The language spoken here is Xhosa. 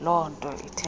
loo nto ithetha